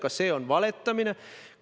Ka see on valetamine.